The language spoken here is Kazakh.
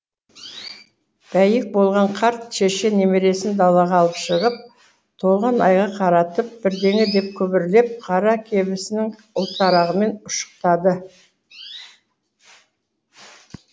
бәйек болған қарт шеше немересін далаға алып шығып толған айға қаратып бірдеңе деп күбірлеп қара кебісінің ұлтарағымен ұшықтады